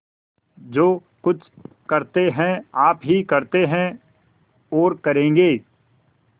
जो कुछ करते हैं आप ही करते हैं और करेंगे